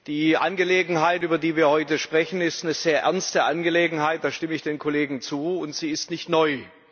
Die Angelegenheit, über die wir heute sprechen, ist eine sehr ernste Angelegenheit, da stimme ich den Kollegen zu. Und sie ist nicht neu.